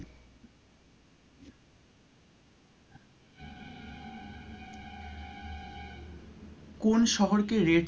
কোন শহরকে red,